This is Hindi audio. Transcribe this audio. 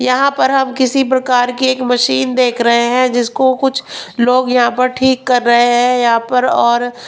यहां पर हम किसी प्रकार की एक मशीन देख रहे हैं जिसको कुछ लोग यहां पर ठीक कर रहे हैं यहां पर और--